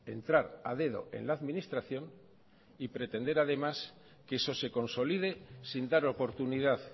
entrar a dedo en la administración y pretender además que eso se consolide sin dar oportunidad